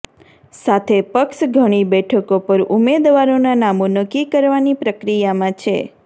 સાથે પક્ષ ઘણી બેઠકો પર ઉમેદવારોનાં નામો નક્કી કરવાની પ્રક્રિયામાં છે